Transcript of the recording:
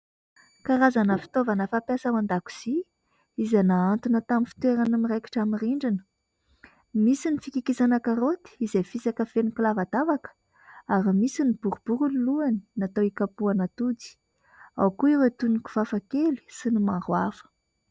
Karazana fitaovana fampiasa ao an-dakozia izay nahantona tamin'ny fitoerany miraikitra amin'ny rindrina. Misy ny fikikisana karaoty izay fisaka feno kilavadavaka ary misy ny boribory ny lohany natao hikapoana atody, ao koa ireo toy ny kifafa kely sy ny maro hafa.